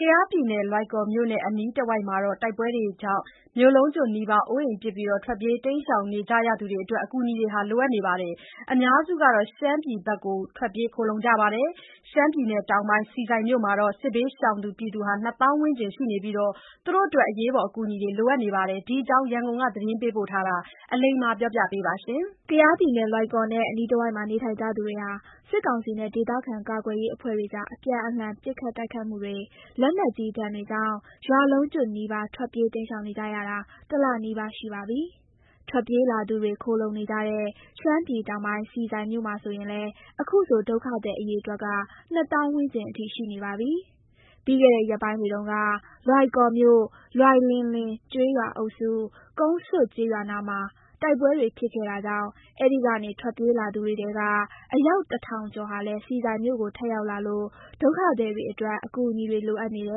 ကယားပြည်နယ်၊ လွိုင်ကော်မြို့နဲ့အနီးတဝိုက်က တိုက်ပွဲတွေကြောင့် မြို့လုံးကျွတ်နီးပါး အိုးအိမ် ပစ် ထွက်ပြေးနေကြသူတွေအတွက် အကူအညီတွေ လိုအပ်နေပါတယ်။ အများစုက ရှမ်းပြည် ဘက်ကို ထွက်ပြေးခိုလှုံနေကြတာမှာ ရှမ်းပြည်တောင်ပိုင်း၊ ဆီဆိုင်မြို့မှာ စစ်ဘေးရှောင်သူ ၂ သောင်းဝန်းကျင်ရှိနေပြီး သူတို့တွေအတွက် အရေးပေါ်အကူအညီတွေ လိုအပ်နေတာပါ။ ဒီအကြောင်း ရန်ကုန်က သတင်းပေးပို့ထားတာကို အလိမ္မာက တင်ပြပေးထားပါတယ်။ ကယားပြည်နယ်၊ လွိုင်ကော်နဲ့ အနီးတဝိုက်မှာ နေထိုင်ကြသူတွေဟာ စစ်ကောင်စီနဲ့ ဒေသခံကာကွယ်ရေးအဖွဲ့တွေကြား အပြန်အလှန် ပစ်ခတ်တိုက်ခိုက်မှုတွေ၊ လက်နက်ကြီးဒဏ်တွေကြောင့် ရွာလုံးကျွတ်နီးပါး ထွက်ပြေးတိမ်းရှောင်နေကြရတာ တလနီးပါးရှိပါပြီ။ ထွက်ပြေးလာသူတွေ ခိုလှုံနေကြတဲ့ ရှမ်းပြည်တောင်ပိုင်း၊ ဆီဆိုင်မြို့မှာဆိုရင်လည်း ဒုက္ခသည်အရေအတွက်က ၂ သောင်းဝန်းကျင်အထိ ရှိနေပါပြီ။ ပြီးခဲ့တဲ့ ရက်ပိုင်းတွေတုန်းက လွိုင်ကော်မြို့၊ လွိုင်လင်လေကျေးရွာအုပ်စု၊ ကုန်းဆွတ်ကျေးရွာနားမှာ တိုက်ပွဲတွေဖြစ်ခဲ့တာကြောင့် အဲဒီကနေထွက်ပြေးလာသူတွေထဲက အယောက် ၁,၀၀၀ ကျော်ဟာလည်း ဆီဆိုင်မြို့ကို ထပ်ရောက်လာလို့ ဒုက္ခသည်တွေအတွက် အကူအညီတွေလိုအပ်နေတ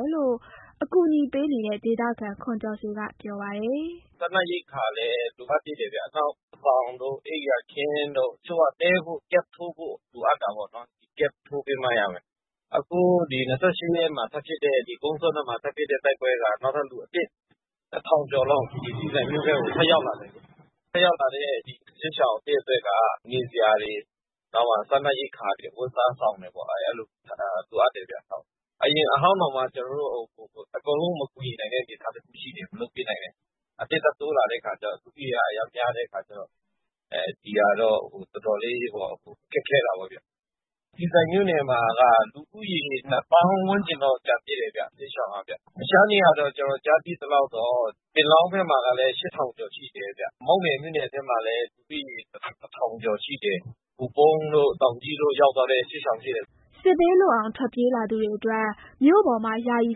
ယ်လို့ ကူညီပေးနေတဲ့ ဒေသခံ ခွန်ကျော်ဆွေကပြောပါတယ်။ "စားနပ်ရိက္ခာလည်း လိုအပ်သေးတယ်ဗျ။ နောက် စောင်တို့၊ အိပ်ယာခင်းတို့၊ တချို့က တည်းဖို့ camp ထိုးဖို့လိုအပ်တာပေါ့နော်။ အခု ၂၈ ရက်နေ့မှာ ကုန်းဆွတ်ဘက်မှာထပ်ဖြစ်တဲ့ တိုက်ပွဲကြောင့် နောက်ထပ် လူ ၁,၀၀၀ ကျော်လောက် ဆီဆိုင်မြို့ထဲကို ထပ်ရောက်လာတယ်။ ထပ်ရောက်လာတဲ့ စစ်ရှောင်အသစ်အတွက်က နေစရာတွေ၊ စားနပ်ရိက္ခာတွေ၊ အဝတ်အစား၊ စောင်တွေ လိုအပ်တယ်ဗျ။ အရင်အဟောင်းတွေကိုတောင်မှ ကျနော်တို့ အကုန်လုံးမကူညီနိုင်တဲ့ အနေအထားရှိတယ်ဗျ။ အသစ်ထပ်တိုးလာတော့ လူဦးရေက အရမ်းများတဲ့အခါကျတော့ ဒီဟာတော့ တော်တော်လေးတော့ ခက်ခဲတာပေါ့ဗျ။ ဆီဆိုင်မြို့နယ်မှာက စစ်ရှောင်ဦးရေက ၂ သောင်းဝန်းကျင်တော့ ကျန်သေးတယ်ဗျ။ တခြားနေရာတွေမှာ ကျနော်ကြားသိသလောက်တော့ ပင်လောင်းဘက်မှာလည်း ၈,၀၀၀ ကျော်ရှိတယ်ဗျ။ မောက်မယ်မြို့နယ်ထဲမှာလည်း ၁,၀၀၀ ကျော်ရှိတယ်။ ဟိုပုန်းတို့၊ တောင်ကြီးတို့ဘက် ရောက်သွားတဲ့စစ်ရှောင်တွေရှိတယ်။" စစ်ဘေးလွတ်အောင် ထွက်ပြေးလာသူတွေအတွက် မြို့ပေါ်မှာ ယာယီ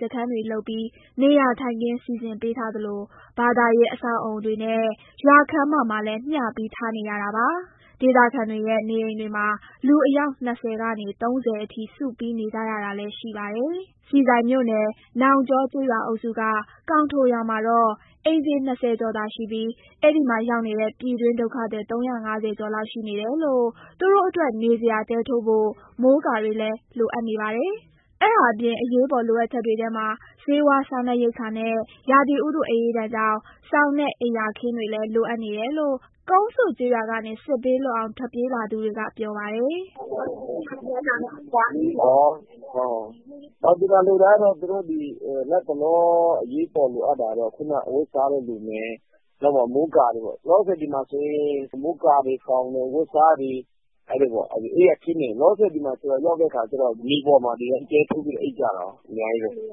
စခန်းတွေလုပ်ပြီး နေရာထိုင်ခင်း စီစဉ်ပေးထားသလို ဘာသာရေးအဆောက်အအုံတွေနဲ့ ရွာခန်းမမှာလည်း မျှပြီးထားနေရတာပါ။ ဒေသခံတွေရဲ့ နေအိမ်တွေမှာ လူအယောက် ၂၀ ကနေ ၃၀ အထိ စုပြီးနေကြတာလည်း ရှိပါတယ်။ ဆီဆိုင်မြို့နယ်၊ နောင်ကျောကျေးရွာအုပ်စုက ကောင်ထိုရွာမှာတော့ အိမ်ခြေ ၂၀ ကျော်သာရှိပြီး အဲဒီမှာရောက်နေတဲ့ ပြည်တွင်းဒုက္ခသည် ၃၅၀ ကျော်လောက်ရှိနေလို့ သူတို့အတွက် နေစရာ တဲထိုးဖို့ မိုးကာတွေလည်း လိုအပ်နေပါတယ်။ အဲဒါအပြင် အရေးပေါ်လိုအပ်ချက်တွေထဲမှာ ဆေးဝါး၊ စားနပ်ရိက္ခာနဲ့ ရာသီဥတုအအေးဒဏ်ကြောင့် စောင်နဲ့ အိပ်ယာခင်းတွေလည်း လိုနေတယ်လို့ ကုန်းဆွတ်ရွာကနေ စစ်ဘေးလွတ်အောင် ပြေးလာသူတွေက ပြောပြပါတယ်။ "သူတို့လတ်တလော အရေးပေါ် လိုအပ်တာကတော့ အဝတ်အစားတွေလိုမယ်၊ မိုးကာတွေရောပေါ့။ မိုးကာတွေ၊ စောင်တွေ၊ အဝတ်အစားတွေ၊ အိပ်ယာခင်းတွေပေါ့။ မြေပေါ်မှာ ဒီတိုင်းတဲထိုးပြီး အိပ်ကြရတာကို အများကြီးပဲ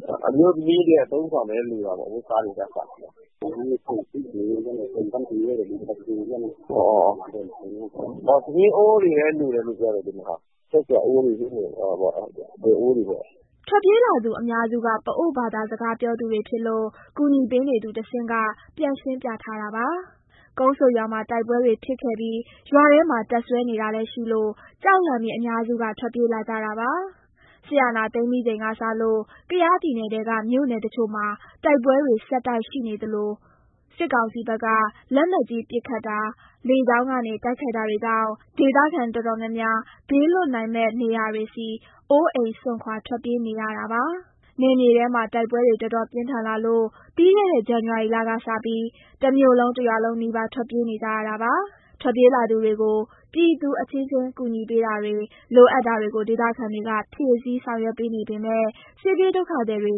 ။ အမျိုးသမီးတွေရဲ့ အသုံးအဆောင်လည်း လိုတာပေါ့။ ထမင်းအိုးတွေလည်း လိုတယ်လို့ပြောတယ်ဗျ။ ချက်စရာအိုးတွေ၊ ဒယ်အိုးတွေပေါ့။" ထွက်ပြေးလာသူအများစုက ပအိုဝ်းဘာသာစကားပြောသူတွေဖြစ်လို့ ကူညီပေးနေသူကတဆင့် ပြန်ရှင်းပြထားတာပါ။ ကုန်းဆွတ်ရွာမှာ တိုက်ပွဲတွေဖြစ်ခဲ့ပြီး ရွာထဲမှာ တပ်စွဲနေတာလည်းရှိလို့ ကြောက်လန့်ပြီး အများစုက ထွက်ပြေးလာကြတာပါ။ စစ်အာဏာသိမ်းပြီးချိန်ကစလို့ ကယားပြည်နယ်ထဲက မြို့နယ်တချို့မှာ တိုက်ပွဲတွေ ဆက်တိုက်ဆိုသလိုရှိနေပြီး စစ်ကောင်စီဘက်က လက်နက်ကြီးပစ်ခတ်တာ၊ လေကြောင်းကနေ တိုက်ခိုက်တာတွေကြောင့် ဒေသခံတော်တော်များများ ဘေးလွတ်နိုင်မယ့်နေရာတွေဆီ အိုးအိမ်စွန့်ခွာ ထွက်ပြေးနေရတာပါ။ နယ်မြေထဲမှာ တိုက်ပွဲတွေ တော်တော်ပြင်းထန်လာလို့ ပြီးခဲ့တဲ့ ဇန်နဝါရီလကစပြီး တမြို့လုံး၊ တရွာလုံးနီးပါး ထွက်ပြေးနေကြရတာပါ။ ထွက်ပြေးလာသူတွေကို ပြည်သူအချင်းချင်း ကူညီပေးတာတွေ၊ လိုအပ်တာတွေကို ဒေသခံတွေက ဖြည့်ဆည်းဆောင်ရွက်ပေးနေပေမယ့် စစ်ပြေးဒုက္ခသည်တွေ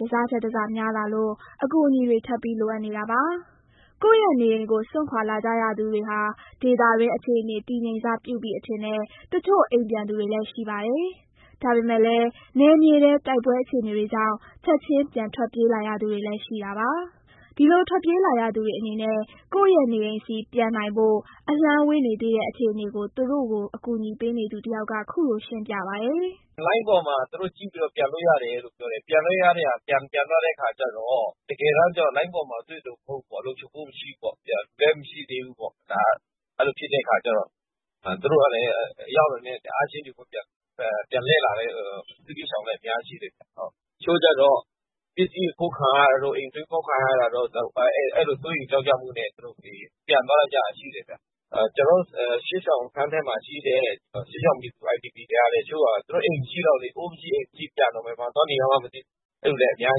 တစထက်တစများလာလို့ အကူအညီတွေ ထပ်ပြီး လိုအပ်နေတာပါ။ ကိုယ့်ရဲ့နေအိမ်ကို စွန့်ခွာလာကြရသူတွေဟာ ဒေသတွင်းအခြေအနေ တည်ငြိမ်စပြုပြီအထင်နဲ့ တချို့အိမ်ပြန်သွားသူတွေလည်း ရှိပါတယ်။ ဒါပေမယ့်လည်း နယ်မြေထဲ တိုက်ပွဲအခြေအနေတွေကြောင့် ချက်ချင်း ပြန်ထွက်ပြေးလာရသူတွေလည်း ရှိနေတာပါ။ ဒီလိုထွက်ပြေးလာရသူတွေအနေနဲ့ ကိုယ့်ရဲ့နေအိမ်ဆီ ပြန်နိုင်ဖို့ အလှမ်းဝေးနေသေးတဲ့ အခြေအနေကို သူတို့ကို ကူညီပေးနေသူတယောက်က ခုလိုရှင်းပြပါတယ်။ "လိုင်းပေါ်မှာ သူတို့ကြည့်ပြီးတော့ ပြန်လို့ရတယ်လို့ပြောတယ်။ ပြန်သွားတဲ့အခါကျတော့ တကယ်တမ်းလိုင်းပေါ်မှာ တွေ့သလို လုံခြုံမှုမရှိဘူးပေါ့။ အဲလိုဖြစ်တဲ့အခါကျတော့ သူတို့ရောက်တာနဲ့ ချက်ချင်းပြန်လှည့်လာတဲ့ စစ်ဘေးရှောင်တွေလည်း အများကြီးရှိတယ်ဗျ။ တချို့ကျတော့ ပစ္စည်းအခိုးခံရတာတို့၊ အိမ်ဖောက်ခံရတာတို့ အဲလို စိုးရိမ်ကြောင့်ကြမှုနဲ့ ပြန်သွားကြတာ ရှိတယ်ဗျ။ ကျနော်တို့ စစ်ရှောင်စခန်းထဲမှာရှိတဲ့ စစ်ရှောင်ပြည်သူ IDP တွေကလည်း သူတို့အိမ်မရှိတော့ဘူးလေ။ အိုးမရှိ၊ အိမ်မရှိဖြစ်တော့ ပြန်တော့လည်း ဘယ်မှာသွားနေရမှန်း မသိဘူးဖြစ်နေသူတွေလည်း အများ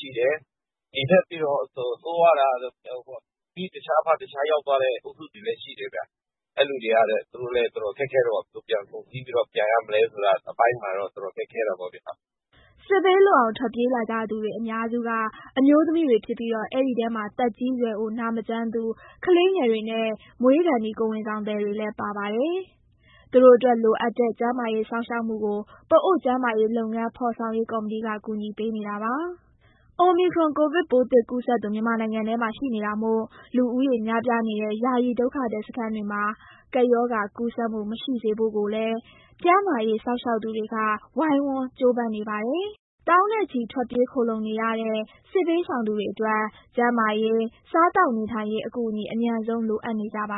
ကြီးရှိတယ်။ ဒီထက်ပိုပြီး ဆိုးရွားတာက မိတခြား၊ ဖတခြားရောက်သွားတဲ့ အုပ်စုတွေလည်း ရှိတယ်ဗျ။ အဲလိုလူတွေကလည်း သူတို့ဘယ်လိုပြန်ဆုံစည်းပြီးတော့ အတူပြန်ရမလဲဆိုတာ အတော်ခက်ခဲတာပေါ့ဗျ။" စစ်ဘေးလွတ်အောင် ထွက်ပြေးလာကြသူ အများစုက အမျိုးသမီးတွေဖြစ်ပြီးတော့ အဲဒီထဲမှာ သက်ကြီးရွယ်အို၊ နာမကျန်းသူ၊ ကလေးငယ်တွေနဲ့ မွေးခါနီး ကိုယ်ဝန်ဆောင်တွေလည်း ပါဝင်ပါတယ်။ သူတို့အတွက် လိုအပ်တဲ့ ကျန်းမာရေးစောင့်ရှောက်မှုကို ပအိုဝ်း ကျန်းမာရေးလုပ်ငန်း ဖော်ဆောင်ရေးကော်မတီက ကူညီပေးနေပါတယ်။ အိုမီခရွန် ကိုဗစ်ပိုးသစ်ကူးစက်သူ မြန်မာနိုင်ငံထဲမှာ ရှိနေတာမို့ လူဦးရေများပြားနေတဲ့ ယာယီဒုက္ခသည်စခန်းတွေမှာ ကပ်ရောဂါကူးစက်မှု မရှိစေဖို့ကိုလည်း ကျန်းမာရေးစောင့်ရှောက်ပေးနေသူတွေက ဝိုင်းဝန်းကြိုးပမ်းနေကြပါတယ်။ သောင်းနဲ့ချီ ထွက်ပြေးခိုလှုံနေရတဲ့ စစ်ဘေးရှောင်သူတွေအတွက် ကျန်းမာရေး၊ စားသောက်နေထိုင်ရေး အကူအညီ အမြန်ဆုံး လိုအပ်နေ ကြပါ